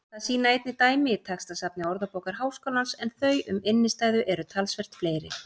Það sýna einnig dæmi í textasafni Orðabókar Háskólans en þau um innstæðu eru talsvert fleiri.